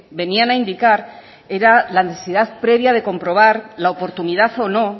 venían a indicar era la necesidad previa de comprobar la oportunidad o no